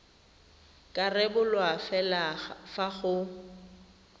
ka rebolwa fela fa go